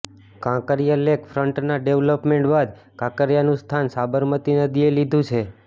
Kankaria lake ફ્રન્ટના development બાદ કાંકરીયાનું સ્થાન સાબરમતી નદીએ લીધું છે